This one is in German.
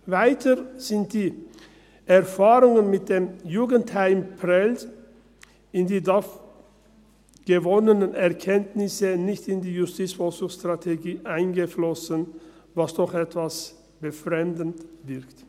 Weiter sind die Erfahrungen mit dem Jugendheim Prêles und die dort gewonnenen Erkenntnisse nicht in die JVS eingeflossen, was doch etwas befremdend wirkt.